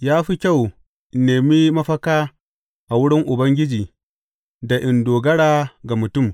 Ya fi kyau in nemi mafaka a wurin Ubangiji da in dogara ga mutum.